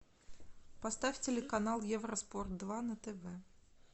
поставь телеканал евроспорт два на тв